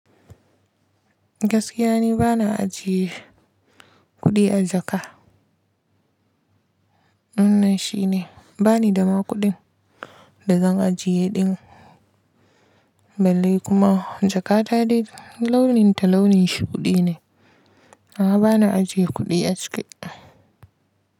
Gaskiya ni bana ajiye kuɗi a jaka. Wannan shi ne bani da ma kuɗin da zan ajiye ɗin. Balle kuma jakata dai launin ta launin shuɗi ne. A'a bana ajiye kuɗi a ciki.